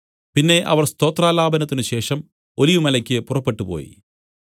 പിന്നെ അവർ സ്തോത്രാലാപനത്തിന് ശേഷം ഒലിവുമലയ്ക്ക് പുറപ്പെട്ടുപോയി